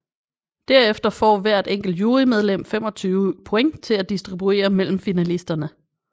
Derefter får hvert enkelt jurymedlem 25 point til at distribuere mellem finalisterne